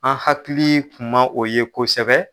An hakili kun ma o ye kosɛbɛ